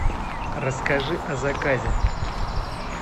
расскажи о заказе